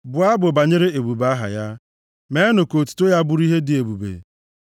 Bụọ abụ banyere ebube aha ya; meenụ ka otuto ya bụrụ ihe dị ebube!